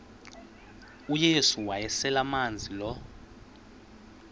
uyesu wayeselemazi lo